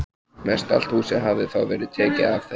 Mestallt húsið hafði þá verið tekið af þeim.